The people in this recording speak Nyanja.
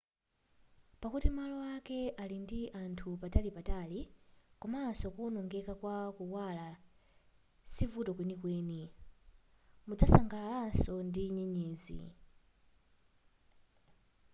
pakuti malo ake ali ndi anthu patalipatali komanso kuwonongeka kwa kuwala sivuto kwenikweni mudzasangalalanso ndi nyenyezi